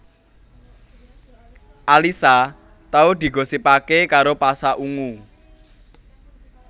Alyssa tau digosipaké karo Pasha Ungu